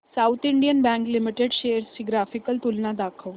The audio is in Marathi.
south Indian Bank Limited shares ची ग्राफिकल तुलना दाखव